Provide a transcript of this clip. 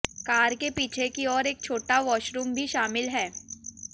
car के पीछे की ओर एक छोटा वॉशरूम भी शामिल है